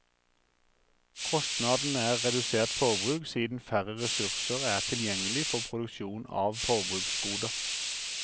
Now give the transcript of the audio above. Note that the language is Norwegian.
Kostnaden er redusert forbruk siden færre ressurser er tilgjengelig for produksjon av forbruksgoder.